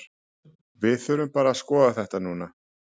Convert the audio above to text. Við þurfum bara að skoða þetta núna.